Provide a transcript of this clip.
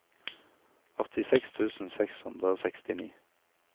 åttiseks tusen seks hundre og sekstini